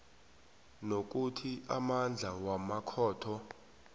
nokuthi amandla wamakhotho